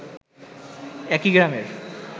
একই গ্রামের